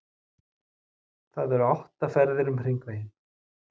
Það eru átta ferðir um Hringveginn.